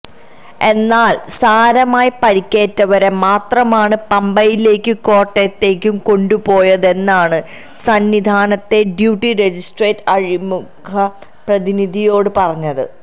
എന്നാല് സാരമായി പരിക്കേറ്റവരെ മാത്രമാണ് പമ്പയിലേക്കും കോട്ടയത്തേക്കും കൊണ്ടുപോയതെന്നാണ് സന്നിധാനത്തെ ഡ്യൂട്ടി മജിസ്ട്രേറ്റ് അഴിമുഖം പ്രതിനിധിയോട് പറഞ്ഞത്